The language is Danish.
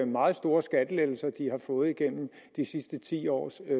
meget store skattelettelser de har fået gennem de sidste ti års